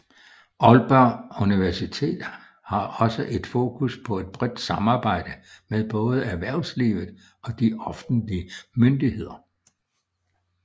Aalborg Universitet har også et fokus på et bredt samarbejde med både erhvervslivet og de offentlige myndigheder